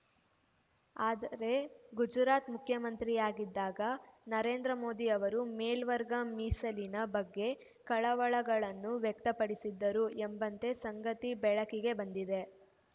ಆದರೆ ಗುಜರಾತ್‌ ಮುಖ್ಯಮಂತ್ರಿಯಾಗಿದ್ದಾಗ ನರೇಂದ್ರ ಮೋದಿ ಅವರು ಮೇಲ್ವರ್ಗ ಮೀಸಲಿನ ಬಗ್ಗೆ ಕಳವಳಗಳನ್ನು ವ್ಯಕ್ತಪಡಿಸಿದ್ದರು ಎಂಬ ಸಂಗತಿ ಬೆಳಕಿಗೆ ಬಂದಿದೆ